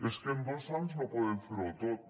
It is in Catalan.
és que en dos anys no podem fer ho tot